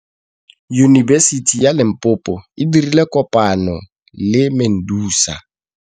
Yunibesiti ya Limpopo e dirile kopanyô le MEDUNSA.